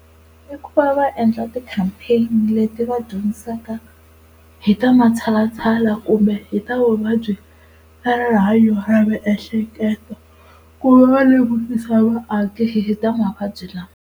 I ku va va endla ti-campaign-i leti va dyondzisaka hi ta matshalatshala kumbe hi ta vuvabyi ta rihanyo ra miehleketo kumbe va lemukisa vaaki hi ta mavabyi lawa.